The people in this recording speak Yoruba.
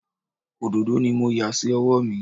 Òdòdó ni mo yà sí ọwọ́ mi